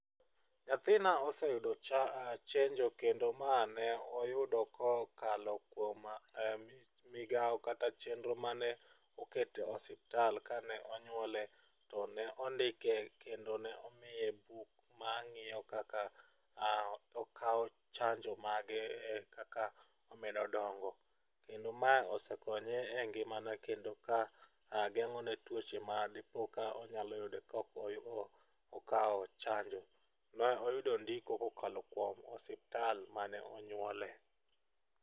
Nyathina oseyudo cha chenjo kendo ma ne oyudo kokalo kuoma migawo kata chenro mane oket e osiptal kane onyuole to ne ondikie kendo ne omiye buk mang'iyo kaka okawo chanjo mage, e kaka omedo dongo. Kendo ma osekonye e ngima ne kendo ka geng' o ne tuoche ma dipo ka onyalo yudo ka ok okawo chanjo, ma oyudo ndiko kokalo kuom ospital mane onyuole .